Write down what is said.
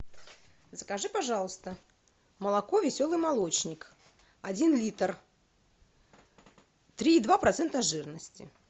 закажи пожалуйста молоко веселый молочник один литр три и два процента жирности